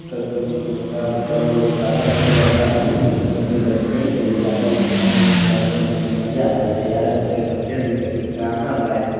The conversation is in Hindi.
कसम से मैं क्या बताऊ अगर पता चल जाता तो मैं अपनी गर्लफ्रेंड को ले जाता घुमाने -फिराने मजा आजाता यार मेरी गर्लफ्रेंड भी कहती कहाँ लाये हो--